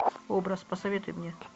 образ посоветуй мне